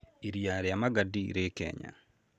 Iria rĩa Magadi rĩ Kenya.